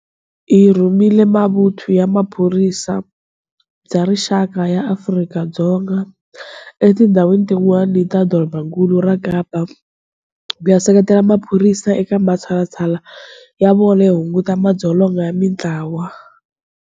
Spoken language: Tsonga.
Hi rhumerile Mavuthu ya Vusirheleri bya Rixaka ya Afrika-Dzonga etindhawini tin'wana ta Dorobakulu ra Kapa ku ya seketela maphorisa eka matshalatshala ya vona yo hunguta madzolonga ya mitlawa.